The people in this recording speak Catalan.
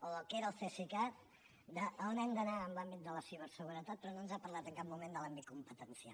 o del que era el cesicat d’on hem d’anar en l’àmbit de la ciberseguretat però no ens ha parlat en cap moment de l’àmbit competencial